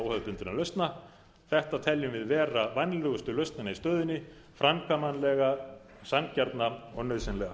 óhefðbundinna lausna þetta teljum við vera vænlegustu lausnina í stöðunni framkvæmanlega sanngjarna og nauðsynlega